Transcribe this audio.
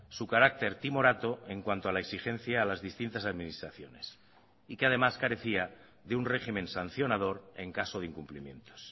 su carácter timorato en cuanto a la exigencia a las distintas administraciones y que además carecía de un régimen sancionador en caso de incumplimientos